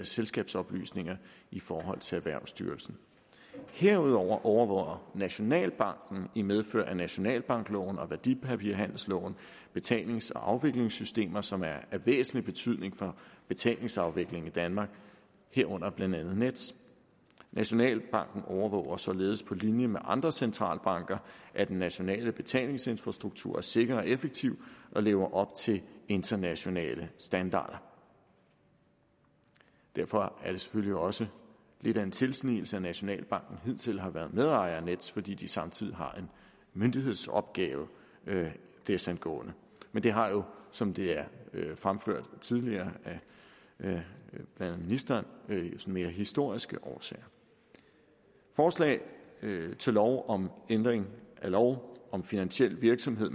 selskabsoplysninger i forhold til erhvervsstyrelsen herudover overvåger nationalbanken i medfør af nationalbankloven og værdipapirhandelsloven betalings og afviklingsystemer som er af væsentlig betydning for betalingsafviklingen i danmark herunder blandt andet nets nationalbanken overvåger således på linje med andre centralbanker at den nationale betalingsinfrastruktur er sikker og effektiv og lever op til internationale standarder derfor er det selvfølgelig også lidt af en tilsnigelse at nationalbanken hidtil har været medejer af nets fordi de samtidig har en myndighedsopgave desangående men det har jo som det er fremført tidligere har ministeren mere historiske årsager forslag til lov om ændring af lov om finansiel virksomhed